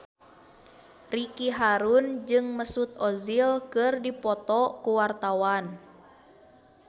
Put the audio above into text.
Ricky Harun jeung Mesut Ozil keur dipoto ku wartawan